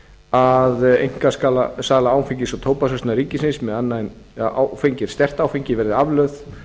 að einkasala áfengis og tóbaksverslunar ríkisins með annað en sterkt áfengi verði aflögð